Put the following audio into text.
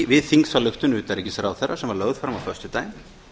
við þingsályktun utanríkisráðherra sem var lögð fram á föstudaginn